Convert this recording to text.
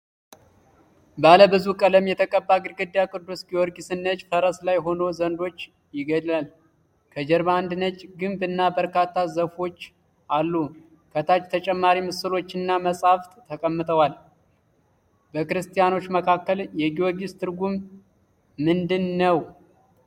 ባለ ብዙ ቀለም የተቀባ ግድግዳ ቅዱስ ጊዮርጊስን ነጭ ፈረስ ላይ ሆኖ ዘንዶ ይገድላል። ከጀርባ አንድ ነጭ ግንብ እና በርካታ ዛፎች አሉ። ከታች ተጨማሪ ምስሎችና መጻሕፍት ተቀምጠዋል። ? በክርስቲያኖች መካከል የጊዮርጊስ ትርጉም ምንድን ነው?